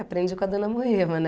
Aprendi com a Dona Moema, né?